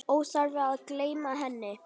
Óþarfi að gleyma henni!